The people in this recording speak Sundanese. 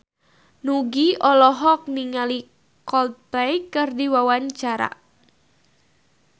Nugie olohok ningali Coldplay keur diwawancara